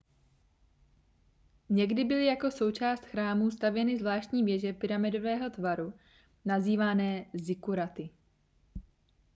někdy byly jako součást chrámů stavěny zvláštní věže pyramidového tvaru nazývané zikkuraty